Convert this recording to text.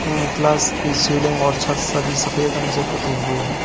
ऊं क्लास की सीलिंग और छत सभी सफेद रंग से पुते हुए हैं।